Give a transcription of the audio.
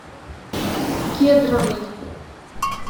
кедровый